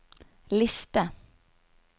liste